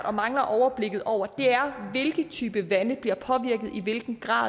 og mangler overblikket over er hvilke typer vande der bliver påvirket i hvilken grad